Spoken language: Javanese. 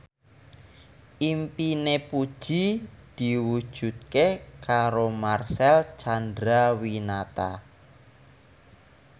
impine Puji diwujudke karo Marcel Chandrawinata